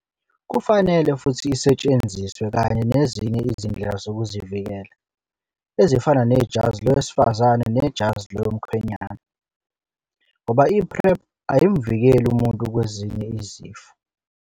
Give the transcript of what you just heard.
Kufanele futhi isetshenziswe kanye nezinye izindlela zokuzivikela, ezifana nejazi lowezifazane nejazi lomkhwenyana, ngoba i-PrEP ayimu vikeli umuntu kwezinye izifo.